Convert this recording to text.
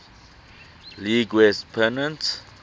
league west pennant